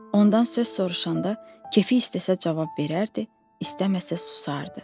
Ondan söz soruşanda kefi istəsə cavab verərdi, istəməsə susardı.